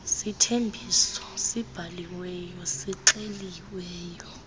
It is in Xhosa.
sithembiso sibhaliweyo sixeliweyo